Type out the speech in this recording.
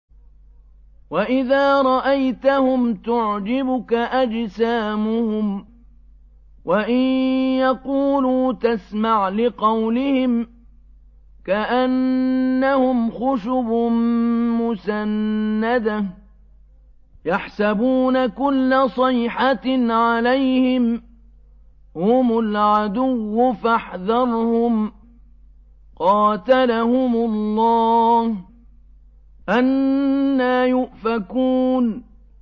۞ وَإِذَا رَأَيْتَهُمْ تُعْجِبُكَ أَجْسَامُهُمْ ۖ وَإِن يَقُولُوا تَسْمَعْ لِقَوْلِهِمْ ۖ كَأَنَّهُمْ خُشُبٌ مُّسَنَّدَةٌ ۖ يَحْسَبُونَ كُلَّ صَيْحَةٍ عَلَيْهِمْ ۚ هُمُ الْعَدُوُّ فَاحْذَرْهُمْ ۚ قَاتَلَهُمُ اللَّهُ ۖ أَنَّىٰ يُؤْفَكُونَ